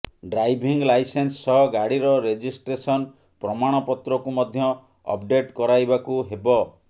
driving licence ସହ ଗାଡ଼ିର registration ପ୍ରମାଣପତ୍ରକୁ ମଧ୍ୟ ଅପଡେଟ୍ କରାଇବାକୁ ହେବ